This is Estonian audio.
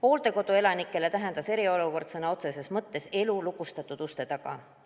Hooldekodu elanikele tähendas eriolukord sõna otseses mõttes elu lukustatud uste taga.